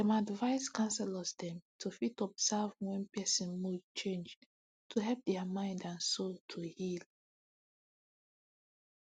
dem advice counselors dem too fit observe wen person mood change to fit help dia mind and soul to heal